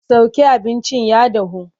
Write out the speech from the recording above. Sauke abincin ya dahu!